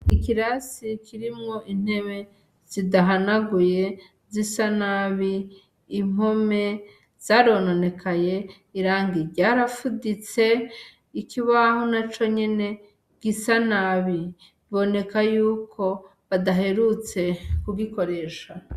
Ikirasi kirimwo intebe zidahanaguye, zisa nabi, impome zarononekaye irangi ryara fuditse, ikubaho naco nyene gisa nabi, biboneka yuko badaherutse kugikoresha.